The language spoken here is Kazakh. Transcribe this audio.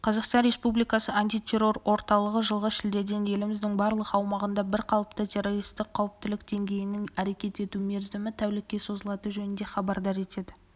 қазақстан республикасы антитеррор орталығы жылғы шілдеден еліміздің барлық аумағында бірқалыпты террористік қауіптілік деңгейінің әрекет ету мерзімі тәулікке созылатыны жөнінде хабардар етеді